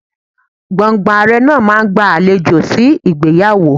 Gbọ̀ǹgbọ̀ǹ Ààrẹ náà máa ń gba àlejò sí ìgbéyàwó.